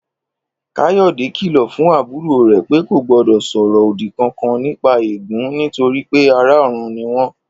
Káyò̩dé kìlò̩ fún àbúrò rè̩ pé kò gbó̩dò̩ sò̩rò̩ òdi kankan nípa eégún nítorí pé ará ò̩run ni wó̩n